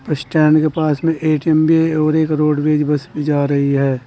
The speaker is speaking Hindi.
स्टैंड के पास में ए_टी_एम भी है और एक रोडवेज़ बस भी जा रही है।